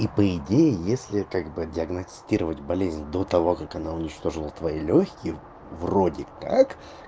и по идее если как бы диагностировать болезнь до того как она уничтожила твои лёгким вроде как